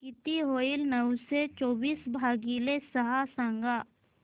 किती होईल नऊशे चोवीस भागीले सहा सांगा